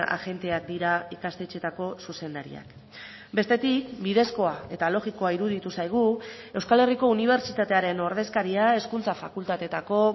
agenteak dira ikastetxeetako zuzendariak bestetik bidezkoa eta logikoa iruditu zaigu euskal herriko unibertsitatearen ordezkaria hezkuntza fakultateetako